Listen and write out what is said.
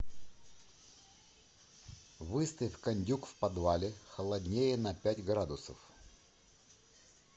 выставь кондюк в подвале холоднее на пять градусов